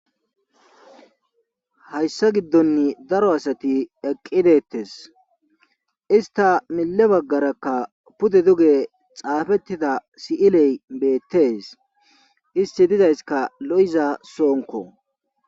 Hayssa giddonn daro asati eqqidettes ista mille baggarakka pude duge xaafettida si'iley beettees isti dizayska lo'iza soonko.